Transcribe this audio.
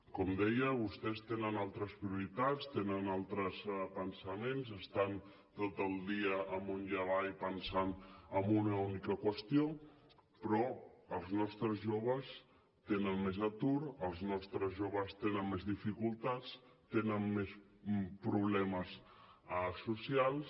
com deia vostès tenen altres prioritats tenen altres pensaments estan tot el dia amunt i avall pensant en una única qüestió però els nostres joves tenen més atur els nostres joves tenen més dificultats tenen més problemes socials